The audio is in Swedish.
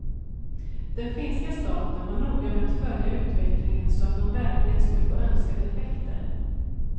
Den finska staten var noga med att följa utvecklingen så att man verkligen skulle få önskade effekter.